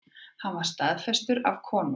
Hann var staðfestur af konungi.